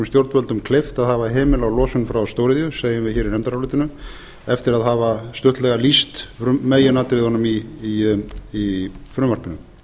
stjórnvöldum kleift að hafa hemil á losun frá stóriðju segjum við hér í nefndarálitinu eftir að hafa stuttlega lýst meginatriðunum í frumvarpinu